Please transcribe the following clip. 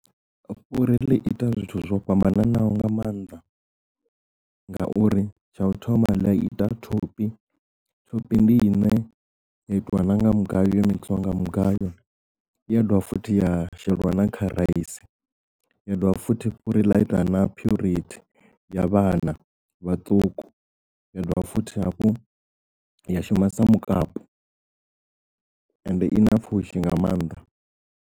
Fhuri ḽi ita zwithu zwo fhambananaho nga maanḓa ngauri tsha u thoma ḽi ita thophi, thophi ndi i ne ya itiwa nanga mugayo yo mixiwa mugayo ya dovha futhi ya sheliwa na kha rice ya dovha futhi fhuri ḽa ita na phuriti ya vhana vhaṱuku ya dovha futhi hafhu ya shuma sa mukapu and i na pfhushi nga maanḓa.